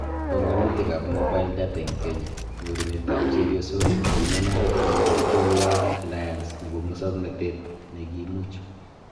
Banganutikab Mobile Data eng Kenya: nyorunetab chebyosok nepimanat eng Digital Worid Alliance nebo musoknotet nekimuch